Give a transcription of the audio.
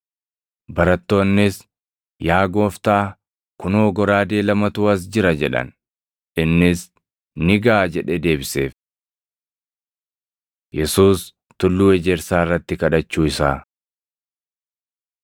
Barattoonnis, “Yaa Gooftaa, kunoo goraadee lamatu as jira” jedhan. Innis, “Ni gaʼa” jedhee deebiseef. Yesuus Tulluu Ejersaa Irratti kadhachuu Isaa 22:40‑46 kwf – Mat 26:36‑46; Mar 14:32‑42